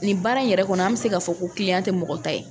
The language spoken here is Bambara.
Nin baara in yɛrɛ kɔnɔ an mɛ se k'a fɔ ko tɛ mɔgɔ ta ye.